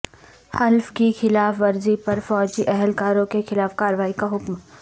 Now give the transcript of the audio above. حلف کی خلاف ورزی پر فوجی اہلکاروں کے خلاف کارروائی کا حکم